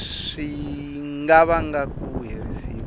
swi nga vanga ku herisiwa